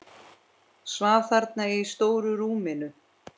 Svaf þarna í stóru rúminu.